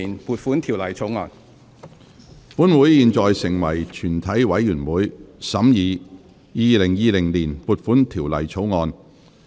本會現在成為全體委員會，審議《2020年撥款條例草案》。